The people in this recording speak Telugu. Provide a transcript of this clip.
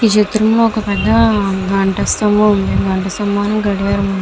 ఈ చిత్రం లొ వక పేద గట్ట స్తంభం. గట్ట స్తంభం నికి గడియారం ఉనాది.